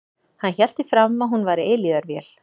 Hann hélt því fram að hún væri eilífðarvél.